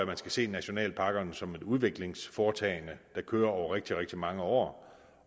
man skal se nationalparkerne som et udviklingsforetagende der kører over rigtig rigtig mange år